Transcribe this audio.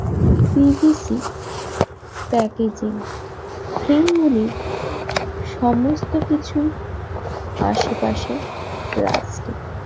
cvc packaging frame গুলি সমস্ত কিছুই আশেপাশে প্লাস্টিক